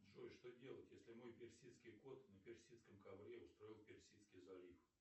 джой что делать если мой персидский кот на персидском ковре устроил персидский залив